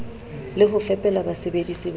le ho fepela basebedisi ba